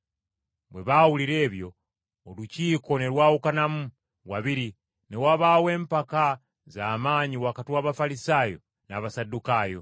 Bwe baawulira ebyo, Olukiiko ne lwawukanamu wabiri ne wabaawo empaka za maanyi wakati w’Abafalisaayo n’Abasaddukaayo,